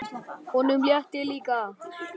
Honum létti líka.